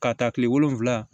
K'a ta tile wolonwula